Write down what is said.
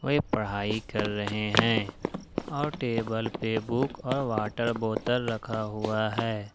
ये पढ़ाई कर रहे हैं और टेबल पे बुक और वाटर बोतल रखा हुआ है।